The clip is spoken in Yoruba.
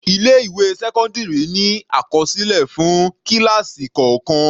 Ilé ìwé sẹ́cọ́ndírì ní àkọsílẹ̀ fún kíláásì kọ̀ọ̀kàn.